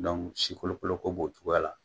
sikolokoloko b'o cogoya la.